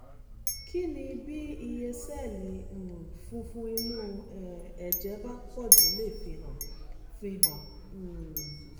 kí ni bí iye sẹ́ẹ̀lì um funfun inú um ẹ̀jẹ̀ bá pọ̀jù lè fihàn? fihàn? um